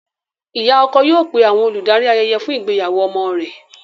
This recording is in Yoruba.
Ìyá ọkọ yóò pé àwọn olùdarí ayẹyẹ fún ìgbéyàwó ọmọ rẹ̀.